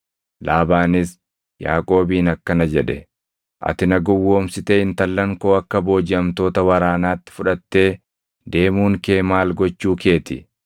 Laabaanis Yaaqoobiin akkana jedhe; “Ati na gowwoomsitee intallan koo akka boojiʼamtoota waraanaatti fudhattee deemuun kee maal gochuu kee ti?